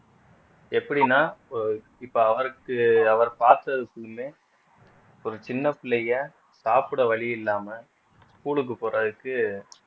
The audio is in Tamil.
எப்படின்னா இப்போ இப்ப அவருக்கு அவர் பார்த்ததுக்குமே ஒரு சின்ன பிள்ளைங்க சாப்பிட வழி இல்லாம school க்கு போறதுக்கு